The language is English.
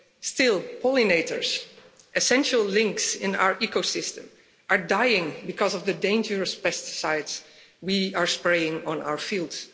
Still, pollinators, one of the most essential links in our ecosystem, are dying because of the dangerous pesticides we are spraying on our fields.